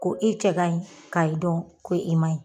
Ko i cɛ ka ɲi ka i dɔn ko i ma ɲi.